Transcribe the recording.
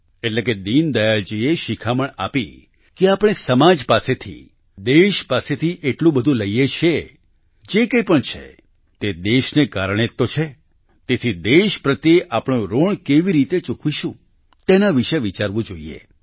એટલે કે દીનદયાળ જીએ શિખામણ આપી કે આપણે સમાજ પાસેથી દેશ પાસેથી એટલું બધું લઈએ છીએ જે કંઈ પણ છે તે દેશને કારણે જ તો છે તેથી દેશ પ્રત્યે આપણું ઋણ કેવી રીતે ચૂકવીશું તેના વિશે વિચારવું જોઈએ